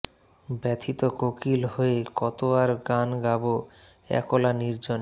ব্যথিত কোকিল হয়ে কতো আর গান গাবো একলা নির্জনে